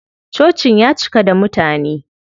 Cocin ya cika da mutane.